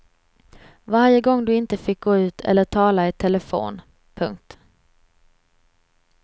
Varje gång du inte fick gå ut eller tala i telefon. punkt